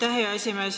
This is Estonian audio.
Aitäh, hea esimees!